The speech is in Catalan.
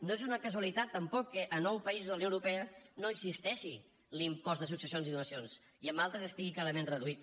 no és una casualitat tampoc que a nou països de la unió europea no existeixi l’impost de successions i donacions i en d’altres estigui clarament reduït